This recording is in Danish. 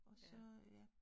Og så ja